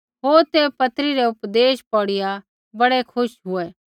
होर ते पत्री रै उपदेश पौड़िया बड़ै खुश हुऐ